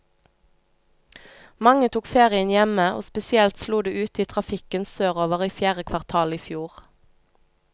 Mange tok ferien hjemme, og spesielt slo det ut i trafikken sørover i fjerde kvartal i fjor.